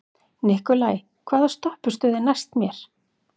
Nikolai, hvaða stoppistöð er næst mér?